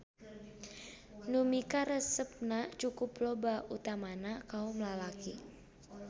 Nu mikaresepna cukup loba utamana kaom lalaki.